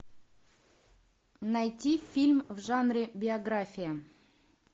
найти фильм в жанре биография